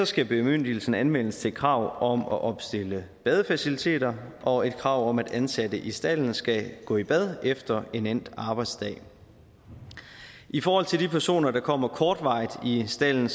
skal bemyndigelsen anvendes til krav om at opstille badefaciliteter og et krav om at ansatte i stalden skal gå i bad efter en endt arbejdsdag i forhold til de personer der kommer kortvarigt i stalden